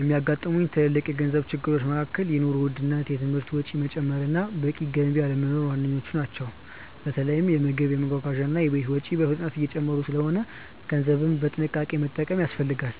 የሚያጋጥሙኝ ትልልቅ የገንዘብ ችግሮች መካከል የኑሮ ውድነት፣ የትምህርት ወጪ መጨመር እና በቂ ገቢ አለመኖር ዋነኞቹ ናቸው። በተለይ የምግብ፣ የመጓጓዣ እና የቤት ወጪዎች በፍጥነት እየጨመሩ ስለሆነ ገንዘብን በጥንቃቄ መጠቀም ያስፈልጋል።